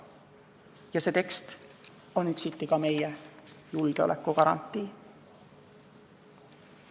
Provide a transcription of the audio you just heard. Ja see tekst on üksiti ka meie julgeolekugarantii.